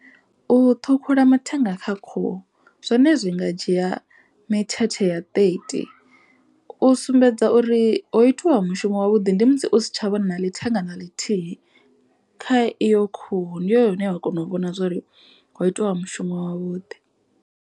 U ṱhukhula mathenga kha khuhu zwone zwi nga dzhia mithethe ya thirty. U sumbedza uri ho itiwa mushumo wa vhuḓi. Ndi musi u si tsha vhona na ḽi thenga na ḽithihi kha iyo khuhu ndi hone hune wa kona u vhona zwori ho itiwa mushumo wavhuḓi.